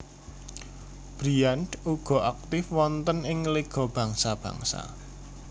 Briand uga aktif wonten ing Liga Bangsa Bangsa